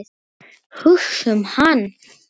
Hugsa um hann.